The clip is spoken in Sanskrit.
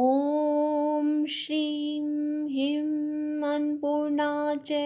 ॐ श्रीं ह्रीं अन्नपूर्णा च